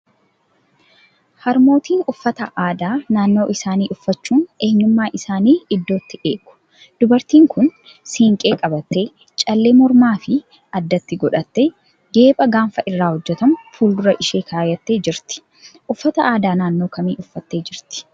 Harmootiin uffata aadaa naannoo isaanii uffachuun eenyummaa isaanii iddootti eegu. Dubartiin kun siinqee qabattee, callee mormaa fo addatti godhattee, geepha gaanfa irraa hojjetamu fuuldura ishii kaa'attee jirti. Uffata aadaa naannoo kamii uffattee jirti?